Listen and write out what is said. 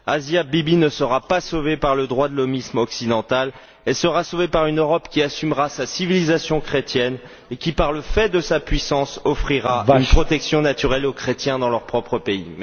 Asia Bibi ne sera pas sauvée par le droit de l'hommisme occidental, elle sera sauvée par une Europe qui assumera sa civilisation chrétienne et qui, par le fait de sa puissance, offrira une protection naturelle aux chrétiens dans leur propre pays.